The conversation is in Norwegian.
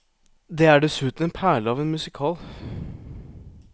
Det er dessuten en perle av en musical.